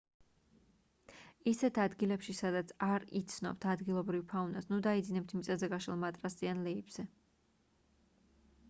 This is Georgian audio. ისეთ ადგილებში სადაც არ იცნობთ ადგილობრივ ფაუნას ნუ დაიძინებთ მიწაზე გაშლილ მატრასზე ან ლეიბზე